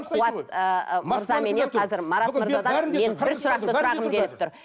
қуат ыыы мырзаменен қазір марат мырзадан мен бір сұрақты сұрағым келіп тұр